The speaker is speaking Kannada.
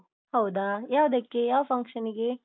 ಹೌದಾ, ಯಾವುದಕ್ಕೆ? ಯಾವ function ಗೆ?